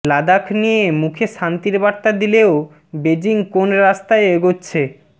লাদাখ নিয়ে মুখে শান্তি র বার্তা দিলেও বেজিং কোন রাস্তায় এগোচ্ছে